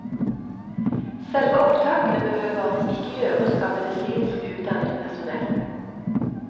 Selve opptakene behøver ikke gjøres av medisinsk utdannet personell.